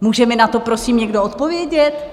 Může mi na to prosím někdo odpovědět?